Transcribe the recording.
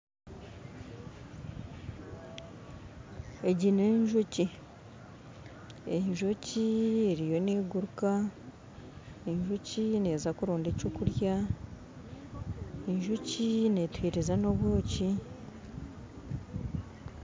Egi nenjoki enjoki eriyo neguruka enjoki neza kuronda ekyokurya enjoki netuhereza nobwoki